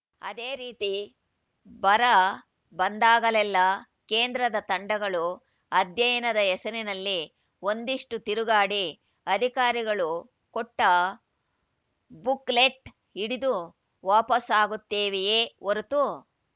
ಅದೇ ರೀತಿ ಬರ ಬಂದಾಗಲೆಲ್ಲ ಕೇಂದ್ರದ ತಂಡಗಳು ಅಧ್ಯಯನದ ಹೆಸರಲ್ಲಿ ಒಂದಿಷ್ಟುತಿರುಗಾಡಿ ಅಧಿಕಾರಿಗಳು ಕೊಟ್ಟಬುಕ್‌ಲೆಟ್‌ ಹಿಡಿದು ವಾಪಸ್ಸಾಗುತ್ತವೆಯೇ ಹೊರತು